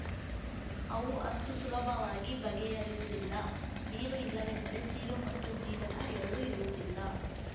ಅವು ಅಷ್ಟುಸುಲಭವಾಗಿ ಬಗೆಹರಿಯುವುದಿಲ್ಲ ನೀರು ಇಲ್ಲವೆಂದರೆ ಜೀವ ಮತ್ತು ಜೀವನ ಎರಡು ಇರುವುದಿಲ್ಲ